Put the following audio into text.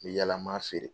N mi yala m'a feere